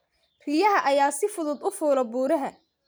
Riyaha ayaa si fudud u fuula buuraha.